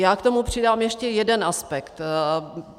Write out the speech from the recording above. Já k tomu přidám ještě jeden aspekt.